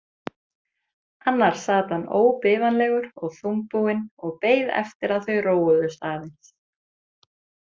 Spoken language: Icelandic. Annars sat hann óbifanlegur og þungbúinn og beið eftir að þau róuðust aðeins.